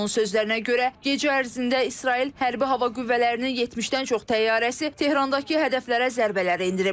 Onun sözlərinə görə, gecə ərzində İsrail hərbi hava qüvvələrinin 70-dən çox təyyarəsi Tehrandakı hədəflərə zərbələr endirib.